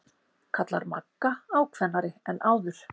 kallar Magga ákveðnari en áður.